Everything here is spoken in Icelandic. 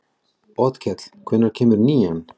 Otkell, hvenær kemur nían?